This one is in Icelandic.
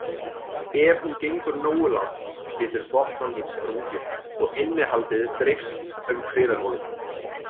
Ef hún gengur nógu langt getur botnlanginn sprungið og innihaldið dreifst um kviðarholið.